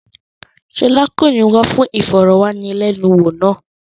Ṣọlá kò ní wá fún ìfọ̀wánilẹ́nuwò náà.